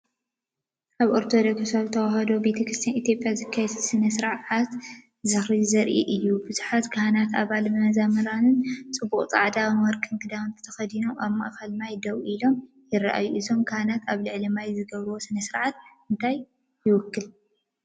ኣብ ኦርቶዶክሳዊት ተዋህዶ ቤተክርስትያን ኢትዮጵያ ዝካየድ ባህላዊ ስነ ስርዓት ዝኽሪ ዘርኢ እዩ። ብዙሓት ካህናትን ኣባላት መዘምራንን ጽቡቕ ጻዕዳን ወርቅን ክዳን ተኸዲኖም ኣብ ማእከል ማይ ደው ኢሎም ይረኣዩ። እዞም ካህናት ኣብ ልዕሊ ማይ ዝገብርዎ ስነ-ስርዓት እንታይ ይውክል?